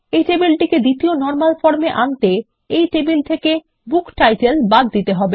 এই টেবিলটিকে দ্বিতীয় নরমাল ফর্ম এ আনতে এই টেবিল থেকে বুকটাইটেল বাদ দিতে হবে